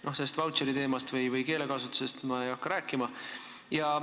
Sellest vautšeriteemast või keelekasutusest ma ei hakka praegu rääkima.